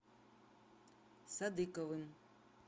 садыковым